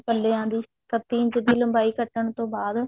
ਪ੍ਲਿਆਂ ਦੀ ਕੱਤੀ ਇੰਚ ਦੀ ਲੰਬਾਈ ਕੱਟਣ ਤੋਂ ਬਾਅਦ